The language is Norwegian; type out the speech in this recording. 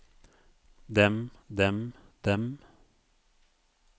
dem dem dem